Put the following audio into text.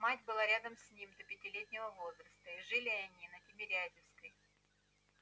мать была рядом с ним до пятилетнего возраста и жили они на тимирязевской